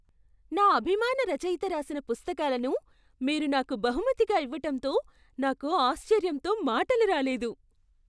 నా అభిమాన రచయిత రాసిన పుస్తకాలను మీరు నాకు బహుమతిగా ఇవ్వటంతో నాకు ఆశ్చర్యంతో మాటలు రాలేదు!